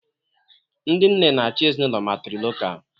Ndị nne na-achị ezinụlọ matrilocal